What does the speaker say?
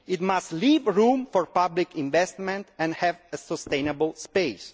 it must leave room for public investment and have a sustainable space.